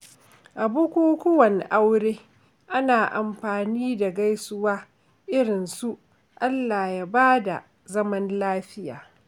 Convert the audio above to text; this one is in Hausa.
A bukukuwan aure, ana amfani da gaisuwa irin su “Allah ya bada zaman lafiya.”